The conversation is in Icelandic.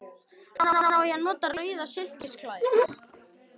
Hvenær á ég að nota rauða silkislæðu?